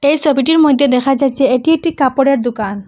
এই ছবিটির মইদ্যে দেখা যাচ্ছে এটি একটি কাপড়ের দুকান ।